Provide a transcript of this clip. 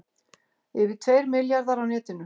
Yfir tveir milljarðar á netinu